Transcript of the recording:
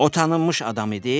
O tanınmış adam idi?